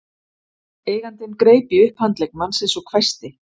Eigandinn greip í upphandlegg mannsins og hvæsti